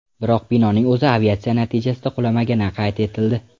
Biroq binoning o‘zi aviatsiya natijasida qulamagani qayd etildi.